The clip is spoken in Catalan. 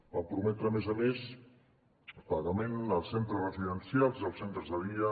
van prometre a més a més pagament als centres residencials i als centres de dia